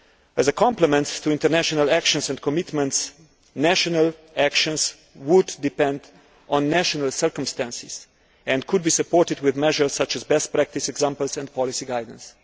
As a complement to international actions and commitments, national actions would depend on national circumstances and could be supported with measures such as best practice examples and policy guidelines.